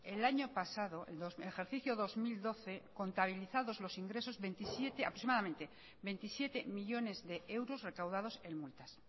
que el año pasado el ejercicio dos mil doce contabilizados los ingresos aproximadamente veintisiete millónes de euros recaudados en multas